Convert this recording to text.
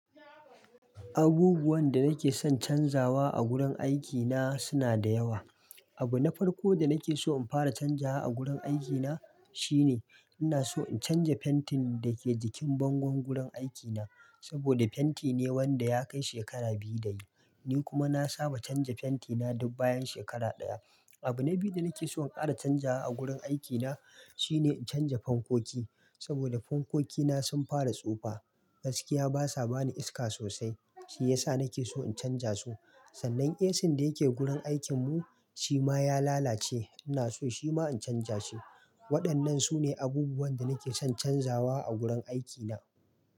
Abubuwan da nake son canzawa a gurin aikina suna da yawa. Abu na farko da nake so in fara canja a gurin aikina shine ina so in canja fentin da ke jikin bangon gurin aikina. Saboda fenti ne wanda ya kai shekara biyu da yi. Ni kuma na saba canja fenti na duk bayan shekara ɗaya. Abu na biyu da nake so in ƙara canja wa gurin aikina shine in canja fankoki. Saboda fankoki na sun fara tsufa. Gaskiya basa bani iska sosai. Shi yasa nake so in canja su. Sannan AC da yake gurin aikin mu shi ma ya lalace. Ina so shi ma in canja shi. Waɗannan sune abubuwan da nake son canzawa a gurin aikina.